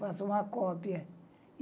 Faço uma cópia.